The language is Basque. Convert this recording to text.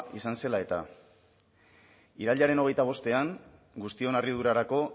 izan zela eta irailaren hogeita bostean guztion harridurarako